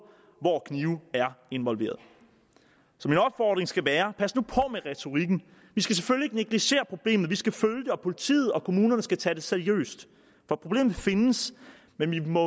hvor knive er involveret så min opfordring skal være pas nu på med retorikken vi skal selvfølgelig ikke negligere problemet vi skal følge det og politiet og kommunerne skal tage det seriøst problemet findes men vi må